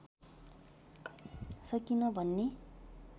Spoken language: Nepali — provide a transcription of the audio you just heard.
सकेन भन्ने